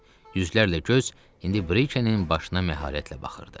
Yüzlərlə göz indi Brikenin başına məharətlə baxırdı.